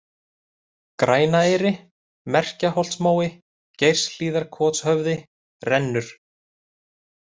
Grænaeyri, Merkjaholtsmói, Geirshlíðarkotshöfði, Rennur